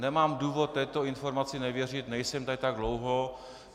Nemám důvod této informaci nevěřit, nejsem tady tak dlouho.